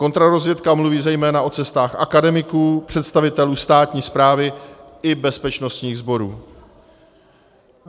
Kontrarozvědka mluví zejména o cestách akademiků, představitelů státní správy i bezpečnostních sborů.